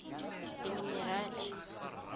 dimenerale